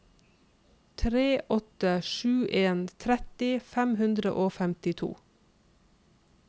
tre åtte sju en tretti fem hundre og femtito